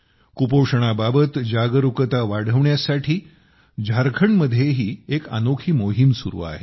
कुपोषणाबाबत जागरूकता वाढवण्यासाठी झारखंडमध्येही एक अनोखी मोहीम सुरू आहे